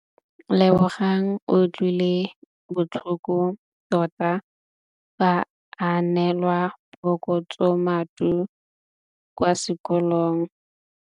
Lebogang o utlwile botlhoko tota fa a neelwa phokotsômaduô kwa sekolong.